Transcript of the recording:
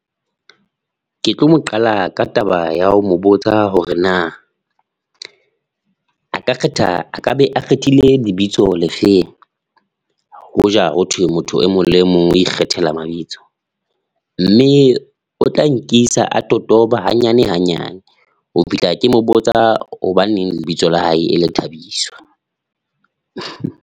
Ke tlo mo qala ka taba ya ho mo botsa hore na a ka kgetha, a ka be a kgethile lebitso lefeng hoja hothwe motho e mong le e mong o ikgethela mabitso mme o tla nkisa a totoba hanyane hanyane ho fihla ke mo botsa, hobaneng lebitso la hae e le Thabiso?